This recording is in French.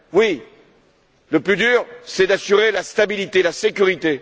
à faire. Oui, le plus dur, c'est d'assurer la stabilité, la